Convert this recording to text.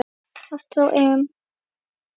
Aftur á EM.